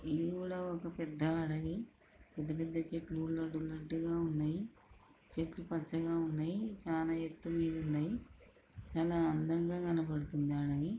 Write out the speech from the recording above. ఇవి కూడా ఒక పెద్ద అడవి పెద్దపెద్ద చెట్లు ఊరిలో ఉన్నట్టుగా ఉన్నాయి చెట్లు పచ్చగా ఉన్నాయి చాలా ఎత్తు మీరి ఉన్నాయి చాలా అందంగా కనపడుతుంది అడవి.